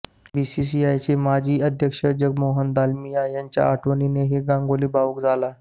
बीसीसीआयचे माजी अध्यक्ष जगमोहन दालमिया यांच्या आठवणीनेही गांगुली भावुक झाला